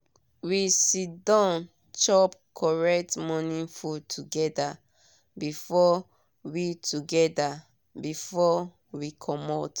we siddon chop correct morning food together before we together before we comot.